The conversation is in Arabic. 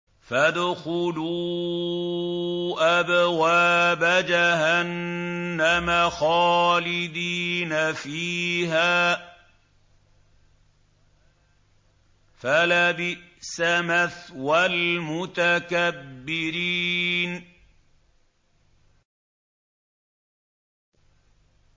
فَادْخُلُوا أَبْوَابَ جَهَنَّمَ خَالِدِينَ فِيهَا ۖ فَلَبِئْسَ مَثْوَى الْمُتَكَبِّرِينَ